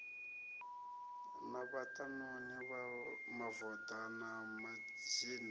na vhaṱanuni mavoḓa na mazhinda